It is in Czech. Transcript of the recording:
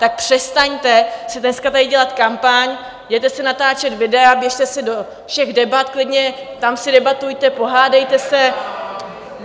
Tak přestaňte si dneska tady dělat kampaň, jděte si natáčet videa, běžte si do všech debat, klidně tam si debatujte, pohádejte se...